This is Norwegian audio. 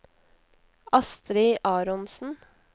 Astrid Aronsen